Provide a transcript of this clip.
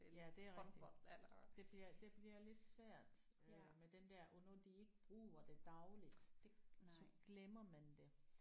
Ja det er rigtigt det bliver det bliver lidt svært øh med den der og når de ikke bruger det dagligt så glemmer man det